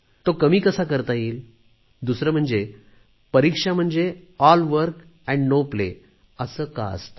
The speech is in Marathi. तो कमी कसा करता येईल दुसरे म्हणजे परीक्षा म्हणजे अभ्यास एके अभ्यास असे का असते